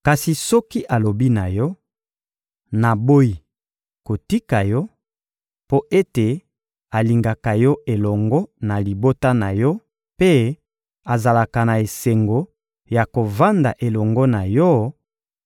Kasi soki alobi na yo: «Naboyi kotika yo,» mpo ete alingaka yo elongo na libota na yo mpe azalaka na esengo ya kovanda elongo na yo,